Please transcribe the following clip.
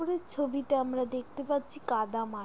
উপরের ছবিতে আমরা দেখতে পারছি কাদা মাটি ।